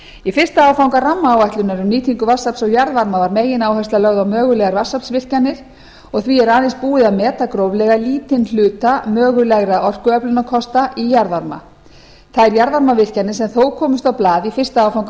í fyrsta áfanga rammaáætlunar um nýtingu vatnsafls og jarðvarma var megináhersla lögð á mögulegar vatnsaflsvirkjanir og því er aðeins búið að meta gróflega lítinn hluta mögulegra orkuöflunarkosta í jarðvarma þær jarðvarmavirkjanir sem þó komust á blað í fyrsta áfanga